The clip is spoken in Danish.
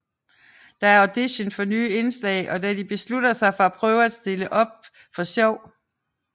Der er audition for nye indslag og da de beslutter sig for at prøve at stille op for sjov